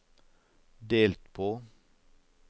delt på